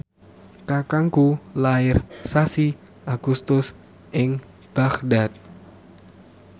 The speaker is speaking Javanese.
kakangku lair sasi Agustus ing Baghdad